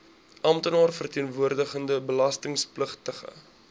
amptenaar verteenwoordigende belastingpligtige